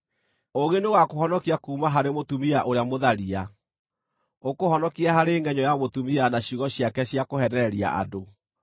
Ũũgĩ nĩũgakũhonokia kuuma harĩ mũtumia ũrĩa mũtharia, ũkũhonokie harĩ ngʼenyũ ya mũtumia na ciugo ciake cia kũheenereria andũ,